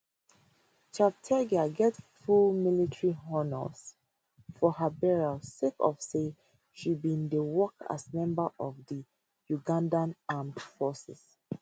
cheptegei get full military honours for her burial sake of say she bin dey work as member of di ugandan armed forces